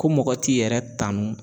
Ko mɔgɔ t'i yɛrɛ tanu